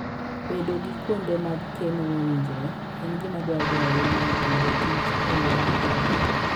Bedo gi kuonde mag keno mowinjore, en gima dwarore ahinya e Agriculture and Foode yo maber.